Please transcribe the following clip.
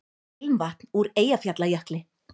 Ilmvatn úr Eyjafjallajökli